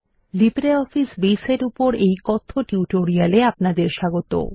LibreOffice Base এর উপর এই কথ্য টিউটোরিয়ালে আপনাদের স্বাগত